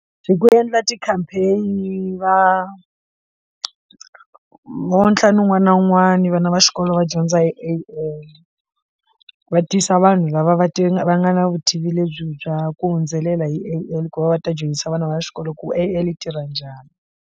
Hi ku endla ti campaign va vo ntlhanu wun'wana na wun'wana vana va xikolo va dyondza hi A_L va tisa vanhu lava va ti nga va nga na vutivi lebyi bya ku hundzelela hi ku va va ta dyondzisa vana va xikolo ku A_L tirha njhani.